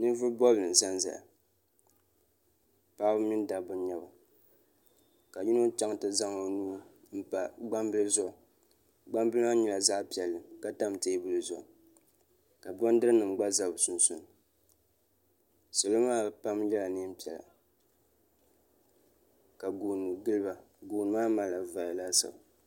Ninvuɣi bɔbili n za nzaya paɣaba mini dabba n nyɛ ba ka yino chaŋ ti zaŋ o nuu n pa gbaŋ bili zuɣu gbaŋ bili maa nyɛla zaɣi piɛlli ka tam tɛɛbuli zuɣu ka bondiri nima gba za sunsuni salo maa pam nyɛla nɛɛn piɛlla ka gooni gili ba.